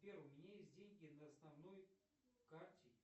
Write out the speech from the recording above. сбер у меня есть деньги на основной карте